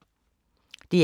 DR K